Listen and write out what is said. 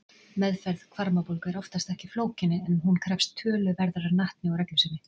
Meðferð hvarmabólgu er oftast ekki flókin en hún krefst töluverðrar natni og reglusemi.